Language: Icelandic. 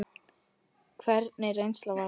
Hvernig reynsla var það?